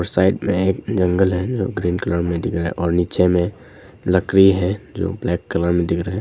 Side में एक जंगल है जो ग्रीन कलर में दिख रहा है और नीचे में लकड़ी है जो ब्लैक कलर में दिख रहा है।